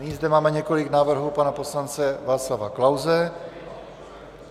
Nyní zde máme několik návrhů pana poslance Václava Klause.